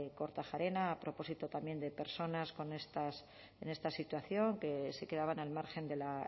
kortajarena a propósito también de personas en esta situación que se quedaban al margen de la